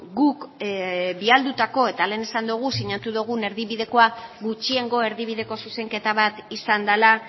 guk bialdutako eta lehen esan dugu sinatu dugun erdibidekoa gutxiengo erdibideko zuzenketa bat izan dela